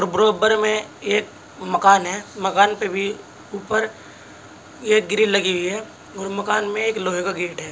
बराबर में एक मकान है। मकान पे भी ऊपर एक ग्रील लगी हुई है और मकान में एक लोहे का गेट है।